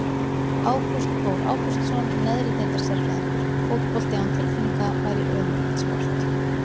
Ágúst Þór Ágústsson, neðri deildar sérfræðingur Fótbolti án tilfinninga væri ömurlegt sport.